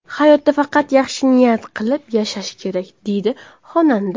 Hayotda faqat yaxshi niyat qilib yashash kerak”, deydi xonanda.